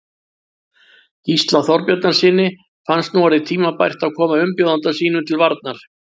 Gísla Þorbjarnarsyni fannst nú orðið tímabært að koma umbjóðanda sínum til varnar.